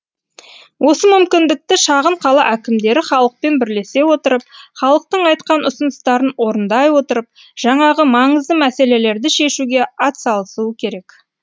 осы мүмкіндікті шағын қала әкімдері халықпен бірлесе отырып халықтың айтқан ұсыныстарын орындай отырып жаңағы маңызды мәселелерді шешуге атсалысуы керек